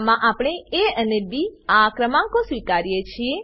આમાં આપણે એ અને બી આ ક્રમાંકો સ્વીકારીએ છીએ